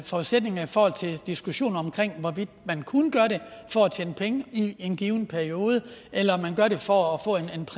forudsætninger i forhold til diskussionen om hvorvidt man kunne gøre det for at tjene penge i en given periode eller om man gør det for